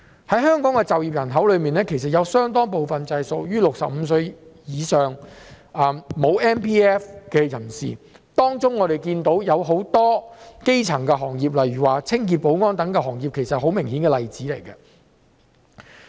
在香港的就業人口之中，有相當部分屬於65歲以上而沒有 MPF 的人士，我們看到當中很多從事基層的行業，例如清潔、保安等，這些是十分明顯的例子。